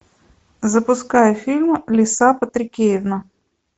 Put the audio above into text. запускай фильм лиса патрикеевна